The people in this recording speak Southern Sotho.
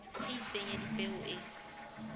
e itseng ya dipeo e